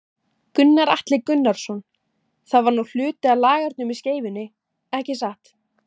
Gunnar Atli Gunnarsson: Það var nú hluti af lagernum í Skeifunni, ekki satt?